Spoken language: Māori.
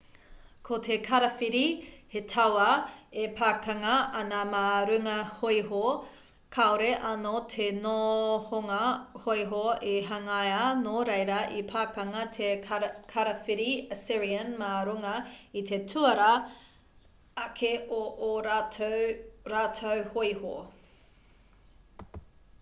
ko te karawhiri he tauā e pakanga ana mā runga hōiho kāore anō te nohonga hōiho i hangaia nō reira i pakanga te karawhiri assyrian mā runga i te tuarā ake o ō rātou hōiho